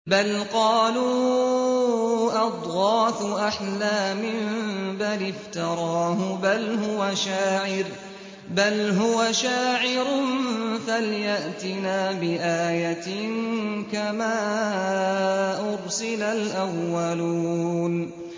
بَلْ قَالُوا أَضْغَاثُ أَحْلَامٍ بَلِ افْتَرَاهُ بَلْ هُوَ شَاعِرٌ فَلْيَأْتِنَا بِآيَةٍ كَمَا أُرْسِلَ الْأَوَّلُونَ